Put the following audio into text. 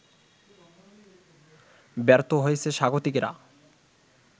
ব্যর্থ হয়েছে স্বাগতিকেরা